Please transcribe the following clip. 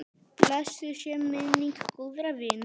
Blessuð sé minning góðra vina.